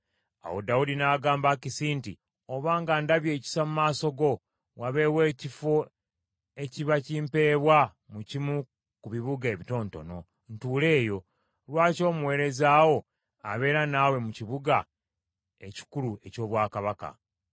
Awo Dawudi n’agamba Akisi nti, “Obanga ndabye ekisa mu maaso go, wabeewo ekifo ekiba kimpebwa mu kimu ku bibuga ebitonotono, ntuule eyo. Lwaki omuweereza wo abeera naawe mu kibuga ekikulu eky’obwakabaka?”